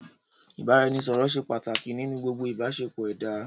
Ìbáraẹnisọ̀rọ̀ ṣé pàtàkì nínú gbogbo ìbáṣepọ̀ ẹ̀dá.